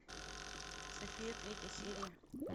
софия третья серия